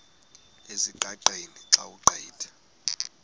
ezingqaqeni xa ugqitha